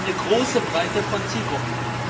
Also eine große Breite von Zielgruppen.